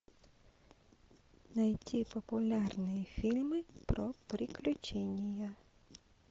найти популярные фильмы про приключения